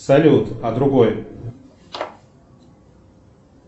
салют а другой